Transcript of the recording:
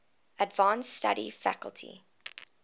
advanced study faculty